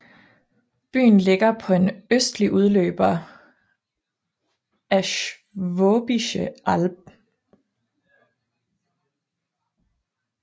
Byen ligger på en østlig udløber af Schwäbische Alb